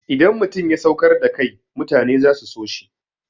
Idan mutum ya saukar da kai mutane za su so shi.